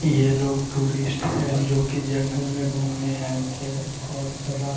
ये लोग टूरिस्ट है जो की जंगल में घूमने आये थे और रा --